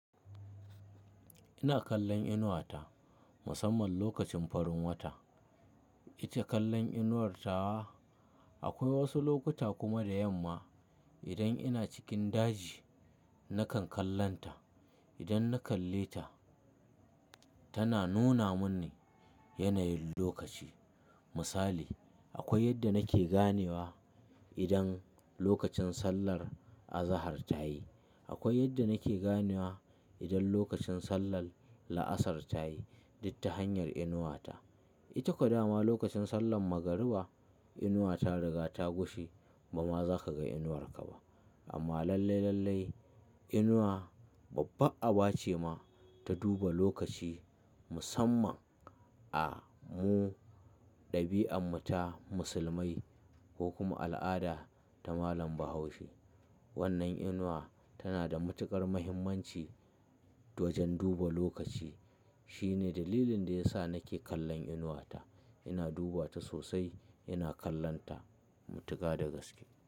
Ina kallon inuwata musamman lokacin farin wata. Ita kallon inuwar tawa. Akwai wasu lokuta kuma da yamma idan ina cikin daji nakan kallonta. Idan na kalle ta, tana nuna mini yanayin lokaci. Misali, akwai yadda nake ganewa idan lokacin sallar azahar ta yi. Akwai yadda nake ganewa idan lokacin sallar la'asar ta yi, duk ta hanyar inuwata. Ita kaɗama lokacin sallar magariba, inuwa ta riga ta gushe ba ma za ka ga inuwarka ba. Amma lallai, lallai inuwa babbar aba ce ma ta duba lokaci musamman a mu ɗabi'armu ta musulmai ko kuma al'ada ta malam Bahaushe. Wannan inuwa tana da matuƙar muhimmanci wajen duba lokaci. Shine dalilin da ya sa nake kallon inuwata. Ina duba ta sosai, ina kallonta matuka da gaske.